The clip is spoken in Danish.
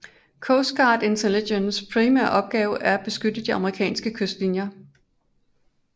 Coast Guard Intelligence primære opgave er at beskytte de amerikanske kystlinjer